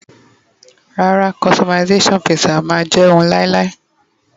rara, customization pizza ma je oun lailai